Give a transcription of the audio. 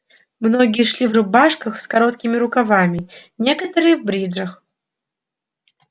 многие шли в рубашках с короткими рукавами некоторые в бриджах